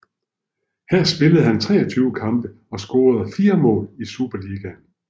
Her spillede han 23 kampe og scorede 4 mål i Superligaen